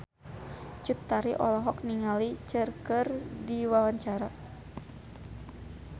Cut Tari olohok ningali Cher keur diwawancara